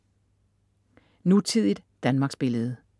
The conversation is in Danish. Nutidigt Danmarksbillede